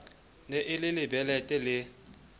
ne e le lebelete le